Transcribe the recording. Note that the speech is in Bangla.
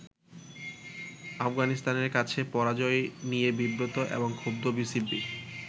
আফগানিস্তানের কাছে পরাজয় নিয়ে ব্রিবত এবং ক্ষুব্ধ বিসিবি।